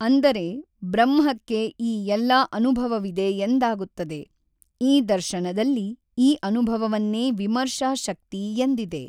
ಅಂದರೆ ಬ್ರಹ್ಮಕ್ಕೆ ಈ ಎಲ್ಲಾ ಅನುಭವವಿದೆ ಎಂದಾಗುತ್ತದೆ ಈ ದರ್ಶನದಲ್ಲಿ ಈ ಅನಭವವನ್ನೇ ವಿಮರ್ಶಾ ಶಕ್ತಿ ಎಂದಿದೆ.